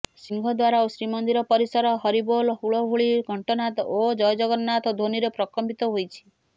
ସିଂହଦ୍ୱାର ଓ ଶ୍ରୀମନ୍ଦିର ପରିସର ହରିବୋଲ ହୁଳୁହୁଳି ଘଣ୍ଟନାଦ ଓ ଜୟ ଜଗନ୍ନାଥ ଧ୍ୱନିରେ ପ୍ରକମ୍ପିତ ହୋଇଛି